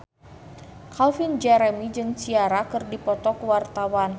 Calvin Jeremy jeung Ciara keur dipoto ku wartawan